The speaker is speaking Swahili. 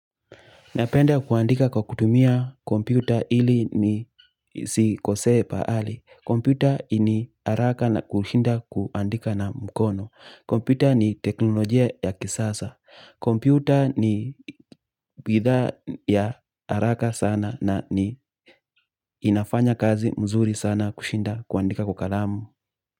Napenda kuandika kwa kutumia kompyuta ili nisikosee pahali. Kompyuta ni haraka na kushinda kuandika na mkono. Kompyuta ni teknolojia ya kisasa. Kompyuta ni bidhaa ya haraka sana na ni inafanya kazi mzuri sana kushinda kuandika kwa kalamu.